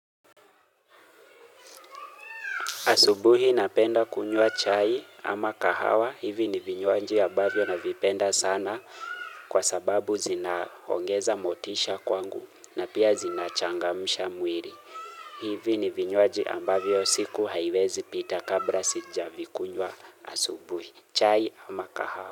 Asubuhi napenda kunywa chai ama kahawa. Hivi ni vinywaji ambavyo navipenda sana kwa sababu zinaongeza motisha kwangu na pia zinachangamsha mwiri. Hivi ni vinywaji ambavyo siku haiwezi pita kabra sijavikunyua asubuhi. Chai ama kahawa.